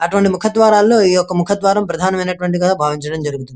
అటువంటి ముఖ ద్వారం లో ఈ ఒక ముఖ ద్వారం ప్రధానమైనటు వంటి గా బావించడం జరుగుతుంది.